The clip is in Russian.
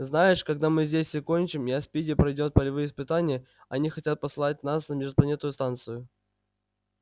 знаешь когда мы здесь все кончим я спиди пройдёт полевые испытания они хотят послать нас на межпланетную станцию